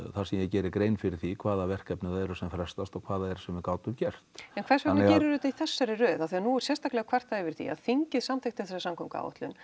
þar sem ég geri grein fyrir því hvaða verkefni það eru sem frestast og hvað það er sem við gátum gert en hvers vegna gerirðu þetta í þessari röð af því að nú er sérstaklega kvartað yfir því að þingið samþykkti þessa samgönguáætlun